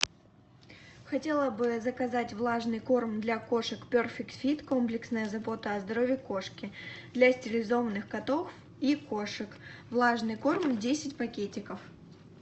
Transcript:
хотела бы заказать влажный корм для кошек перфект фит комплексная забота о здоровье кошки для стерилизованных котов и кошек влажный корм десять пакетиков